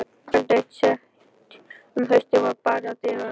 Kvöld eitt seint um haustið var barið að dyrum.